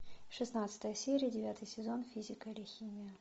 шестнадцатая серия девятый сезон физика или химия